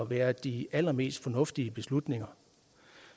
være de allermest fornuftige beslutninger